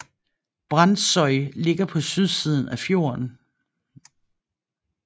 Brandsøy ligger på sydsiden af fjorden